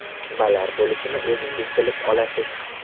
Nimalar bo‘lishi o‘zingiz bilib olasiz.